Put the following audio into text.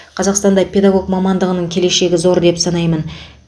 қазақстанда педагог мамандығының келешегі зор деп санаймын